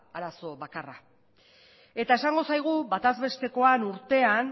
da arazo bakarra eta esango zaigu bataz bestekoan urtean